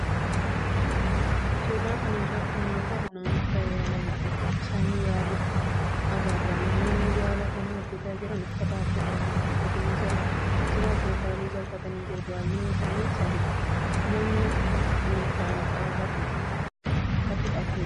suuraa kana irratti kan agarru namoota yaala baqaqsaanii yaaluu agarra. Namoonni yaala kana hojjetaa jiran uffata halluu adii, cuqulisa akkasumas magariisa uffatanii jiru. baayyinni isaanis sadidha. namni tokko meeshaa qara qabu harkatti qabatee jira.